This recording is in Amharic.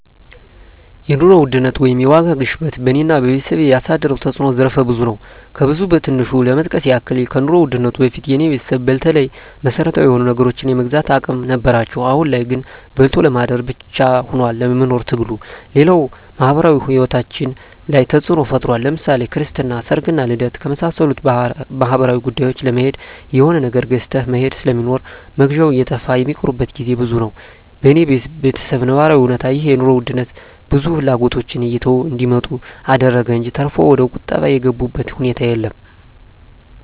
የኑሮ ውድነት ወይም የዋጋ ግሽበት በኔና በቤተሰቤ ያሳደረው ተጽኖ ዘርፈ ብዙ ነው። ከብዙ በትንሹ ለመጥቀስ ያክል ከኑሮ ውድነቱ በፊት የኔ ቤተሰብ በተለይ መሰረታዊ የሆኑ ነገሮችን የመግዛት አቅም ነበራቸው አሁን ላይ ግን በልቶ ለማደር ብቻ ሁኗል የመኖር ትግሉ፣ ሌላው ማህበራዊ ሂወታችን ላይ ተጽኖ ፈጥሯል ለምሳሌ ክርስትና፣ ሰርግና ልደት ከመሳሰሉት ማህበራዊ ጉዳዮች ለመሄድ የሆነ ነገር ገዝተህ መሄድ ስለሚኖር መግዣው እየጠፋ ሚቀሩበት ግዜ ብዙ ነው። በኔ በተሰብ ነባራዊ እውነታ ይህ የኑሮ ውድነት ብዙ ፍላጎቶችን እየተው እንዲመጡ አደረገ እንጅ ተርፎ ወደቁጠባ የገቡበት ሁኔታ የለም።